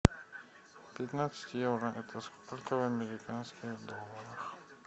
пятнадцать евро это сколько в американских долларах